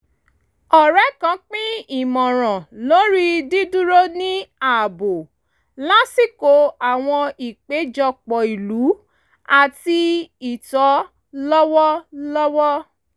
ọ̀rẹ́ kan pín ìmọ̀ràn lórí dídúró ní ààbò lásìkò àwọn ìpéjọpọ̀ ìlú àti ìtò lọ́wọ̀ọ̀wọ́